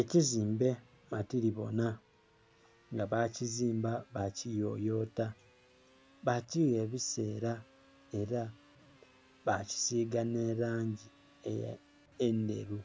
ekizimbe matilibonha, nga bakizimba bakiyoyota bakigha ebiseela ela bakisiga nhe langi eya endheru.